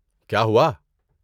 کیا ہوا؟